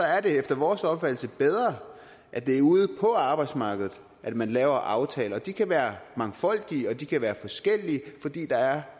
er det efter vores opfattelse bedre at det er ude på arbejdsmarkedet at man laver aftaler de kan være mangfoldige og de kan være forskellige fordi der er